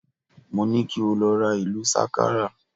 Mo ni ki o lọ ra ìlù sákárà